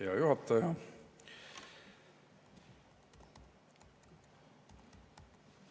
Hea juhataja!